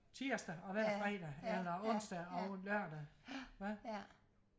tirsdag og hver fredag eller onsdag og lørdag ja